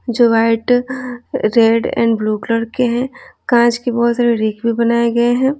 जो white red and blue colour के हैं कांच के बहुत सारे रेक भी बनाए गए हैं।